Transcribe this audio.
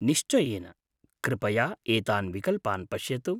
निश्चयेन, कृपया एतान् विकल्पान् पश्यतु।